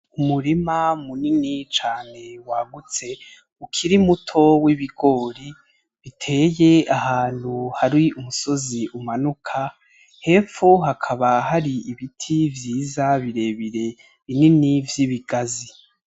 Umurima munini cane wagutse ukiri muto w'ibigori biteye ahantu har'umusozi umanuka, hepfo hakaba hari ibiri vyiza birebire binini vy'ibigazi.